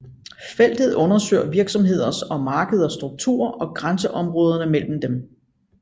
Feltet undersøger virksomheders og markeders struktur og grænseområderne mellem dem